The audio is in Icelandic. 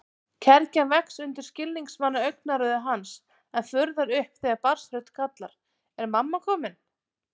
Kergjan vex undir skilningsvana augnaráði hans en fuðrar upp þegar barnsrödd kallar: Er mamma komin?